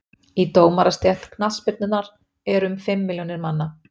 í dómarastétt knattspyrnunnar eru um fimm milljónir manna